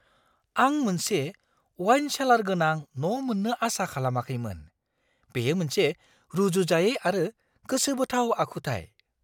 आं मोनसे wine cellar गोनां न' मोन्नो आसा खालामाखैमोन-बेयो मोनसे रुजुजायै आरो गोसोबोथाव आखुथाय!